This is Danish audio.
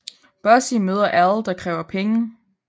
Bossy møder Al der kræver penge